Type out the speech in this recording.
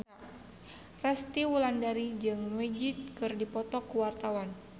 Resty Wulandari jeung Magic keur dipoto ku wartawan